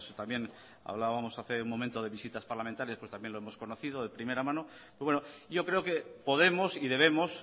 también hablábamos hace un momento de visitas parlamentarias pues también lo hemos conocido de primera mano pero bueno yo creo que podemos y debemos